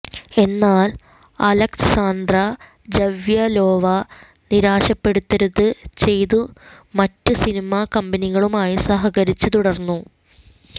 എന്നാൽ Alexandra Zavyalova നിരാശപ്പെടരുത് ചെയ്തു മറ്റ് സിനിമ കമ്പനികളുമായി സഹകരിച്ച് തുടർന്നു